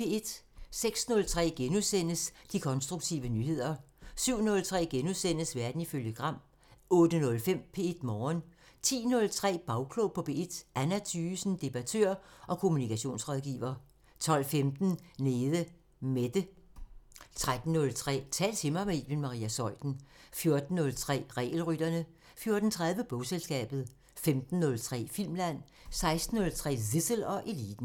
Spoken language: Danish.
06:03: De konstruktive nyheder * 07:03: Verden ifølge Gram * 08:05: P1 Morgen 10:03: Bagklog på P1: Anna Thygesen, debattør og kommunikationsrådgiver 12:15: Nede Mette 13:03: Tal til mig – med Iben Maria Zeuthen 14:03: Regelrytterne 14:30: Bogselskabet 15:03: Filmland 16:03: Zissel og Eliten